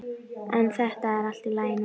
En þetta er allt í lagi núna.